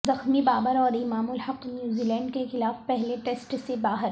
زخمی بابر اور Imam ul Haq New Zealand کیخلاف پہلے ٹسٹ سے باہر